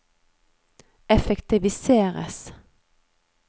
effektiviseres